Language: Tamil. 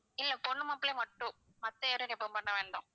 இல்ல பொண்ணு மாப்பிள்ளைய மட்டும் மத்த யாரையும் remove பண்ண வேண்டாம்.